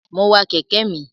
Mo wa kẹ̀kẹ́ mi.